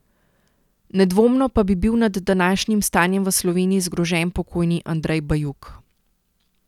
Nedvomno pa bi bil nad današnjim stanjem v Sloveniji zgrožen pokojni Andrej Bajuk.